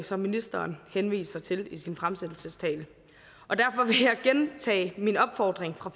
som ministeren henviser til i sin fremsættelsestale derfor vil jeg gentage min opfordring fra